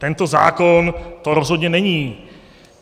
Tento zákon to rozhodně není.